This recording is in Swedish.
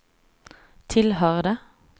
tillhörde